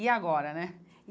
E agora, né?